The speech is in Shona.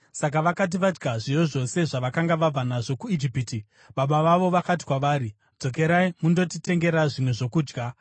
Saka vakati vadya zviyo zvose zvavakanga vabva nazvo kuIjipiti, baba vavo vakati kwavari, “Dzokerai mundotitengera zvimwe zvokudya.”